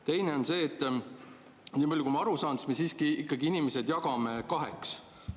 Teiseks, niipalju kui ma aru saan, me siiski jagame inimesed kaheks.